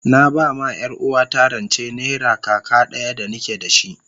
Na ba ma yar uwarta rance naira kaka daya da ni ke da shi,